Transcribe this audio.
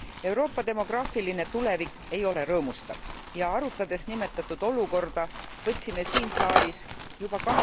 Euroopa demograafiline tulevik ei ole rõõmustav ja arutades nimetatud olukorda, võtsime siin saalis juba